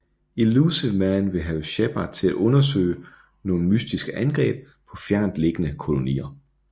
Illusive Man vil have Shepard til at undersøge nogle mystiske angreb på fjernt liggende kolonier